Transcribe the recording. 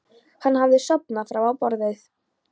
Hann hafði sofnað fram á borðið.